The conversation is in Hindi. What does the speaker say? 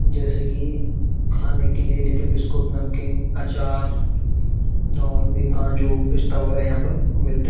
जैसे कि खाने के लिए लेके बिस्कुट नमकीन अचार और भी काजू पिस्ता वगैरा यहाँ पर मिलते --